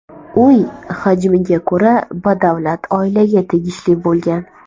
Uy, hajmiga ko‘ra, badavlat oilaga tegishli bo‘lgan.